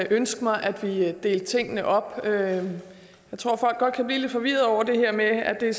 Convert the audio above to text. ønske mig at vi delte tingene op jeg tror folk godt kan blive lidt forvirrede over det her med at det